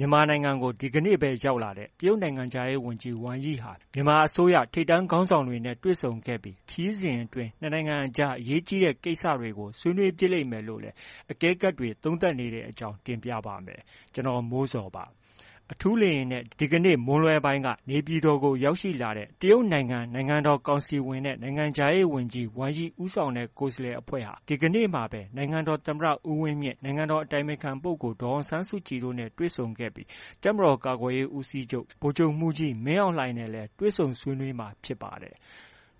ြန်မာနိုင်ငံကို ဒီနေ့ပဲ ရောက်လာတဲ့ တရုတ်နိုင်ငံခြားရေးဝန်ကြီး Wang Yi ဟာ မြန်မာအစိုးရ ထိပ်တန်းခေါင်းဆောင်တွေနဲ့ တွေ့ဆုံခဲ့ပြီး ခရီးစဉ်အတွင်း ၂ နိုင်ငံကြား အရေးကြီးတဲ့ ကိစ္စတွေကို ဆွေးနွေးဖြစ်လိ့မ်မယ်လို့လည်း အကဲခတ်တွေ သုံးသပ်နေတဲ့အကြောင်း တင်ပြပါမယ်။ ဗွီအိုအေမြန်မာပိုင်း သတင်းထောက် ကိုမိုးဇော်က သတင်းပေးပို့ထားပါတယ်။ အထူးလေယာဉ်နဲ့ ဒီကနေ့မွန်းလွဲပိုင်းက နေပြည်တော်ကို ရောက်ရှိလာတဲ့ တရုတ်နိုင်ငံ နိုင်ငံတော်ကောင်စီဝင်နဲ့ နိုင်ငံခြားရေးဝန်ကြီး Wang Yi ဦးဆောင်တဲ့ ကိုယ်စားလှယ်အဖွဲ့ဟာ ဒီကနေ့မှာပဲ နိုင်ငံတော်သမ္မတဦးဝင်းမြင့်၊ နိုင်ငံတော်အတိုင်ပင်ခံပုဂ္ဂိုလ် ဒေါ်အောင်ဆန်းစုကြည်တို့နဲ့ တွေ့ဆုံခဲ့ပြီး တပ်မတော်ကာကွယ်ရေးဦးစီးချုပ် ဗိုလ်ချုပ်မှူးကြီးမင်းအောင်လှိုင်နဲ့လည်း တွေ့ဆုံဆွေးနွေးမှာ ဖြစ်ပါတယ်။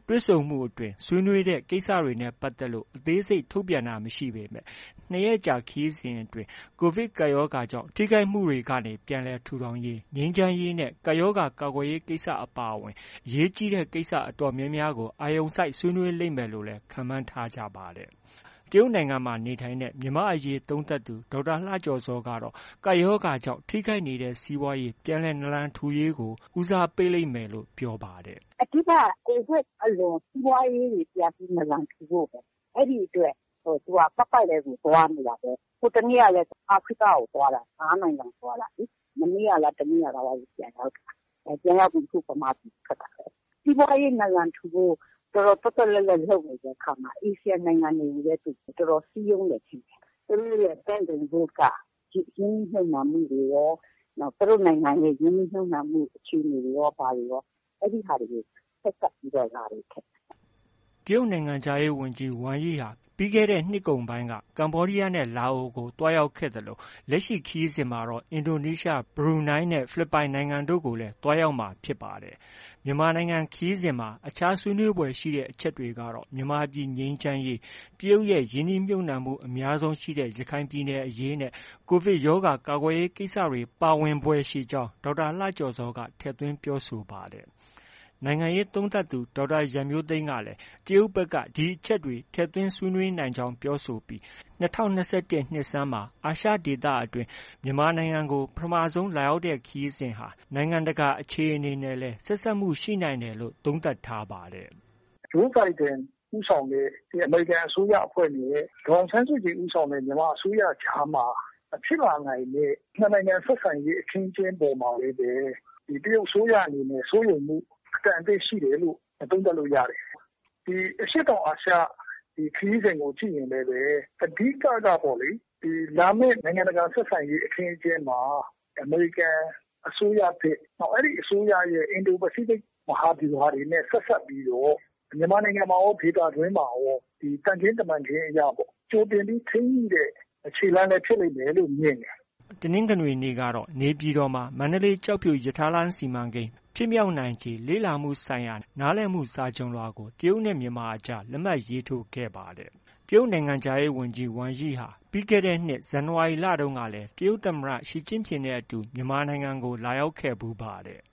တွေ့ဆုံမှုအတွင်း ဆွေးနွေးတဲ့ ကိစ္စတွေနဲ့ ပတ်သက်လို့ အသေးစိတ် ထုတ်ပြန်တာ မရှိပေမဲ့ ၂ ရက်ကြာ ခရီးစဉ်အတွင်း ကိုဗစ်ကပ်ရောဂါကြောင့် ထိခိုက်မှုတွေကနေ ပြန်လည်ထူထောင်ရေး၊ ငြိမ်းချမ်းရေးနဲ့ ကပ်ရောဂါ ကာကွယ်ဆေး ကိစ္စတွေ အပါအဝင် အရေးကြီးတဲ့ကိစ္စ တော်တော်များများကို အာရုံစိုက် ဆွေးနွေးလိမ့်မယ်လို့လည်း ခန့်မှန်းထားကြပါတယ်။ တရုတ်နိုင်ငံမှာ နေထိုင်တဲ့ မြန်မာအရေးသုံးသပ်သူ ဒေါက်တာလှကျော်ဇောကတော့ ကပ်ရောဂါကြောင့် ထိခိုက်နေရတဲ့ စီးပွားရေး ပြန်လည်နာလန်ထူရေးကို ဦးစားပေးလိမ့်မယ်လို့ပြောပါတယ်။ “အဓိကက ကိုဗစ်အလွန် စီးပွားရေးတွေ ပြန်ပြီး နာလံထူဖို့ပဲ။ အဲဒီအတွက် သူက ပတ်ပတ်လည်ကို သွားနေတာပဲ။ ဟိုတစ်နေ့ကလည်း အာဖရိကကို သွားတာ။ ၅နိုင်ငံသွားတာလေ။ မနေ့ကလည်း တစ်နေ့ကလားပဲ ပြန်ရောက်တာ။ ပြန်ရောက်ပြီး ခု ဗမာပြည်ထွက်တာပဲ။ စီးပွားရေး နာလံထူဖို့ တော်တော် သွက်သွက်လက်လက်လုပ်နေတဲ့အခါမှာ အာဆီယံနိုင်ငံတွေကိုလည်း တော်တော်စည်းရုံးတယ်ထင်တယ်။ သူတို့ရဲ့ Belt and Road က ရင်းနှီးမြှုပ်နှံမှုတွေရော၊ သူတို့နိုင်ငံရဲ့ ရင်းနှီးမြှုပ်နှံမှုအခြေအနေရော ဘာတွေရော၊ အဲဒါတွေကို ဆက်စပ်ပြီးတော့ လာတယ်ထင်တယ်။” တရုတ်နိုင်ငံခြားရေးဝန်ကြီး Wang Yi ဟာ ပြီးခဲ့တဲ့နှစ်ကုန်ပိုင်းက ကမ္ဘောဒီယားနဲ့ လာအိုကို သွားရောက်ခဲ့သလို လက်ရှိခရီးစဉ်မှာတော့ အင်ဒိုနီးရှား၊ ဘရူးနိုင်းနဲ့ ဖိလစ်ပိုင်နိုင်ငံတို့ကိုလည်းသွားရောက်မှာ ဖြစ်ပါတယ်။ မြန်မာနိုင်ငံခရီးစဉ်မှာ အခြား ဆွေးနွေးဖွယ်ရှိတဲ့အချက်တွေကတော့ မြန်မာပြည်ငြိမ်းချမ်းရေး၊ တရုတ်ရဲ့ ရင်းနှီးမြှုပ်နှံမှု အများဆုံးရှိရာ ရခိုင်ပြည်နယ်အရေးနဲ့ ကိုဗစ်ရောဂါ ကာကွယ်ရေးကိစ္စတွေ ပါဝင်ဖွယ်ရှိကြောင်း ဒေါက်တာလှကျော်ဇောက ထည့်သွင်း ပြောဆိုပါတယ်။ နိုင်ငံရေးသုံးသပ်သူ ဒေါက်တာ ရန်မျိုးသိမ်းကလည်း တရုတ်ဘက်က ဒီအချက်တွေ ထည့်သွင်းဆိုဆွေးနွေးနိုင်ကြောင်း ပြောဆိုပြီး ၂၀၂၁ နှစ်ဆန်းမှာ အာရှဒေသအတွင်း မြန်မာနိုင်ငံကို ပထမဆုံး လာရောက်တဲ့ခရီးစဉ်ဟာ နိုင်ငံတကာ အခြေအနေနဲ့လည်း ဆက်စပ်မှုရှိတယ်လို့ သုံးသပ်ထားပါတယ်။ “ဂျိုးဘိုင်ဒန်ဦးဆောင်တဲ့ အမေရိကန်အစိုးရအဖွဲ့နဲ့ ဒေါ်အောင်ဆန်းစုကြည်ဦးဆောင်တဲ့ မြန်မာအစိုးရကြားမှာ ဖြစ်လာနိုင်တဲ့ ၂ နိုင်ငံ ဆက်ဆံရေး အခင်းအကျင်းပေါ်မှာလည်းပဲ တရုတ်အစိုးရအနေနဲ့ စိုးရိမ်မှုအတန်အသင့် ရှိတယ်လို့ သုံးသပ်လို့ ရတယ်။ ဒီအရှေ့တောင်အာရှ ခရီးစဉ်ကို ကြည့်ရင်လည်းပဲ အဓိကကပေါ့လေ လာမယ့် နိုင်ငံတကာ ဆက်ဆံရေး အခင်းအကျင်းမှာ အမေရိကန်အစိုးရသစ် အဲဒီအစိုးရရဲ့ အင်ဒိုပစိဖိတ် မဟာဗျူဟာတွေနဲ့ ဆက်စပ်ပြီးတော့ မြန်မာနိုင်ငံမှာရော၊ ဒေသတွင်းမှာရော သံခင်းတမန်ခင်းအရ ကြိုတင်ပြီး ထိန်းညှိတဲ့ ခြေလှမ်းလည်း ဖြစ်လိမ့်မယ်လို့ မြင်တယ်။” တနင်္ဂနွေနေ့ကတော့ နေပြည်တော်မှာ မန္တလေး-ကျောက်ဖြူရထားလမ်း စီမံကိန်း ဖြစ်မြောက်နိုင်ခြေလေ့လာမှုဆိုင်ရာ နားလည်မှု စာချွန်လွှာကို တရုတ်နဲ့ မြန်မာအကြား လက်မှတ် ရေးထိုးခဲ့ပါတယ်။ တရုတ်နိုင်ငံခြားရေးဝန်ကြီး Wang Yi ဟာ ပြီးခဲ့တဲ့နှစ် ဇန်နဝါရီလမှာတုန်းကလည်း တရုတ်သမ္မတ ရှီကျင့်ဖျင်နဲ့အတူ မြန်မာနိုင်ငံကို လာရောက်ခဲ့ဖူးပါတယ်။